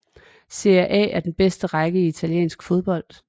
Serie A er den bedste række i italiensk fodbold